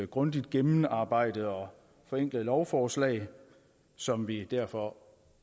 grundigt gennemarbejdet og forenklet lovforslag som vi derfor